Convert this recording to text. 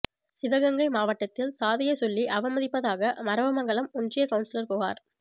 சிவகங்கை மாவட்டத்தில் சாதியை சொல்லி அவமதிப்பதாக மறவமங்கலம் ஒன்றிய கவுன்சிலர் புகார்